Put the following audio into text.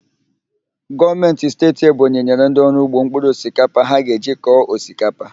Gọọmentị Steeti nke Ebonyi nyere ndị ọrụ ugbo mpkụrụ osikapa ha ga-eji kọọ osikapa